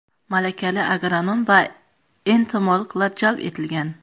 Malakali agronom va entomologlar jalb etilgan.